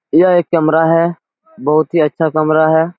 यह एक कमरा है बहुत ही अच्छा कमरा है ।